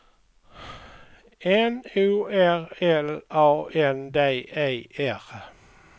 N O R L A N D E R